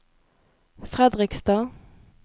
Fredrikstad